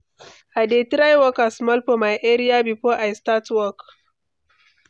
I dey try waka small for my area before I start work.